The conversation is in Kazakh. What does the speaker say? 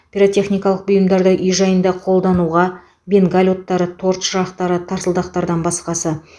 пиротехникалық бұйымдарды үй жайда қолдануға бенгаль оттары торт шырақтары тарсылдақтардан басқасы